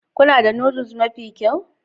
Kuna da Noodles mafi kyau